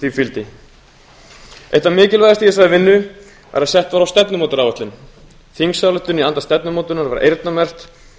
því fylgdi eitt það mikilvægasta í þessari vinnu er að sett var á fót stefnumótunaráætlun þingsályktun í anda stefnumótunar var eyrnamerkt